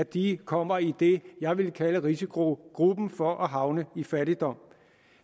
de kommer i det jeg vil kalde risikogruppen for at havne i fattigdom